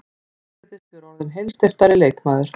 Hann virðist vera orðinn heilsteyptari leikmaður.